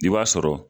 I b'a sɔrɔ